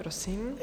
Prosím.